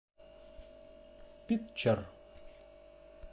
питчер